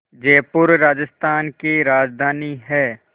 जयपुर राजस्थान की राजधानी है